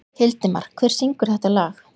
Hildimar, hver syngur þetta lag?